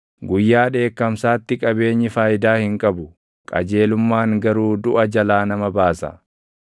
Guyyaa dheekkamsaatti qabeenyi faayidaa hin qabu; qajeelummaan garuu duʼa jalaa nama baasa.